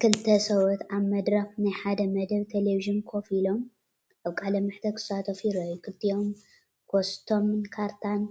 ክልተ ሰብኡት ኣብ መድረኽ ናይ ሓደ መደብ ተለቪዥን ኮፍ ኢሎም፡ ኣብ ቃለ መሕትት ክሳተፉ ይረኣዩ። ክልቲኦም ኮስትሞን ካርታን